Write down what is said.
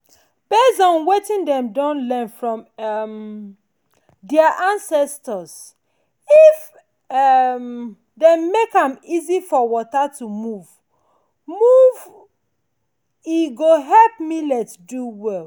based on wetin dem don learn from um their ancestors if um dem make am easy for water to move move e go help millet do well.